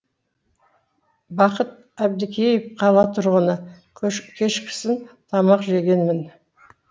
бақат әбдікеев қала тұрғыны кешкісін тамақ жегенмін